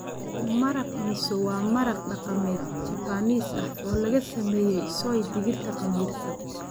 Maraq Miso waa maraq dhaqameed Japanese ah oo laga sameeyay soy digirta khamiirsan.